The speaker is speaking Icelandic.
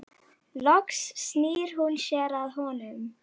Loks snýr hún sér að honum.